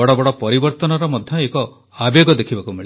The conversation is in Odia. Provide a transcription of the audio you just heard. ବଡ଼ ବଡ଼ ପରିବର୍ତ୍ତନର ମଧ୍ୟ ଏକ ଆବେଗ ଦେଖିବାକୁ ମିଳେ